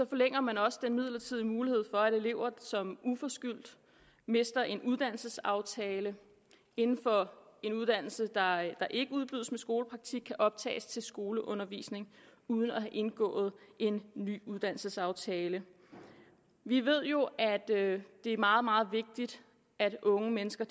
forlænger man også den midlertidige mulighed for at elever som uforskyldt mister en uddannelsesaftale inden for en uddannelse der ikke udbydes med skolepraktik kan optages til skoleundervisning uden at have indgået en ny uddannelsesaftale vi ved jo at det er meget meget vigtigt at unge mennesker